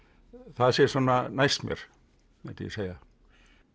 það sé svona næst mér mundi ég segja